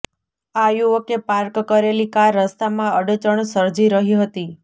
આ યુવકે પાર્ક કરેલી કાર રસ્તામાં અડચણ સર્જી રહી હતી